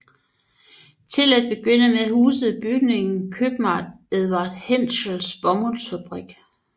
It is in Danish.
Til at begynde med husede bygningen købmanden Edward Hentschels bomuldsfabrik